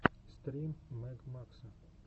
стрим мэг макса